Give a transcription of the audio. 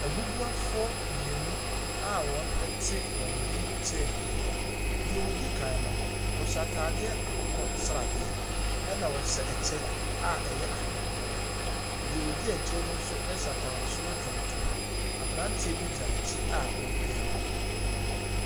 Abubuafoɔ mmienu a wɔte wɔn wheel chair mu. Deɛ odi kan no, ɛhyɛ ataadeɛ akokɔsradeɛ. Ɛna ɔhyɛ ɛkyɛ a ɛyɛ ahabanmono. Deɛ odi akyire no nso hyɛ ataade soro tuntum. Abranteɛ bi gyina n'akyi a ɔrepia no.